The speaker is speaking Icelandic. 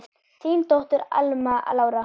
Þín dóttir, Alma Lára.